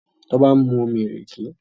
Toba nmu omí ìrèké